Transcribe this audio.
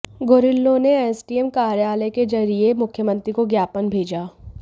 गुरिल्लों ने एसडीएम कार्यालय के जरिये मुख्यमंत्री को ज्ञापन भेजा